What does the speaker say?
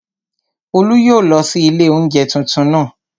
Olú yóò lọ sí ilé oúnjẹ tuntun naa